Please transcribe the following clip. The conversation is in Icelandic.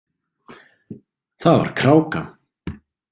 Það var kráka.